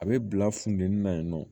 A bɛ bila funteni na yen nɔ